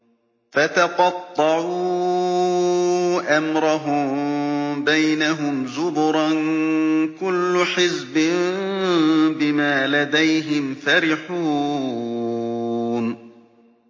فَتَقَطَّعُوا أَمْرَهُم بَيْنَهُمْ زُبُرًا ۖ كُلُّ حِزْبٍ بِمَا لَدَيْهِمْ فَرِحُونَ